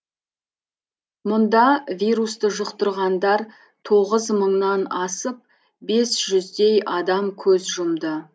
мұнда вирусты жұқтырғандар тоғыз мыңнан асып бес жүздей адам көз жұмды